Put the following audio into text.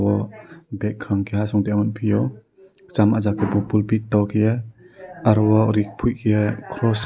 aw bek kon pai keha song pio chama ja ke pul pi do kaie aro o rik pui keie Kross.